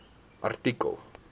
artikel